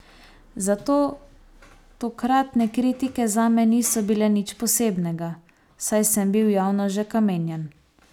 Zato tokratne kritike zame niso bile nič posebnega, saj sem bil javno že kamenjan.